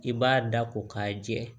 I b'a da ko k'a jɛ